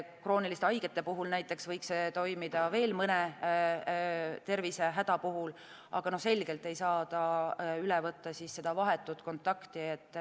Näiteks krooniliste haigete puhul võiks see toimida ja veel mõne tervisehäda puhul, aga selgelt ei saa see üle võtta vahetut kontakti.